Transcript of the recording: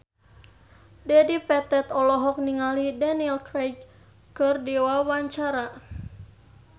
Dedi Petet olohok ningali Daniel Craig keur diwawancara